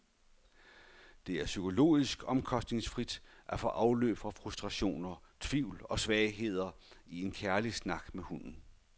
Det er psykologisk omkostningsfrit at få afløb for frustrationer, tvivl og svagheder i en kærlig snak med hunden.